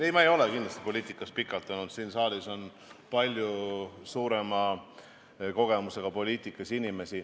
Ei, ma ei ole kindlasti poliitikas pikalt olnud, siin saalis on palju suurema poliitikakogemusega inimesi.